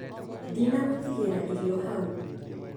Ndina gũtigĩria irio hau